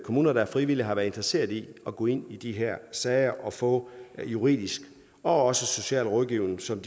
kommuner der frivilligt har været interesseret i at gå ind i de her sager og få den juridiske og sociale rådgivning som